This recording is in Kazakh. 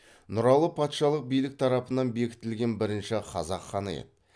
нұралы патшалық билік тарапынан бекітілген бірінші қазақ ханы еді